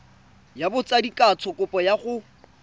ya botsadikatsho kopo ya go